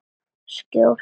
Skjól og öryggi.